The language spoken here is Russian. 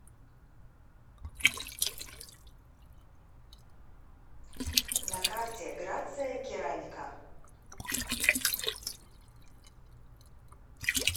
на карте грация керамика